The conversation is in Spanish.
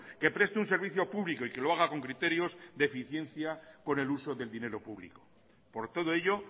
que preste un servicio público y que lo haga con criterios de eficiencia con el uso del dinero público por todo ello